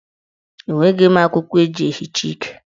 Enweghi m akwụkwọ eji ehicha ike.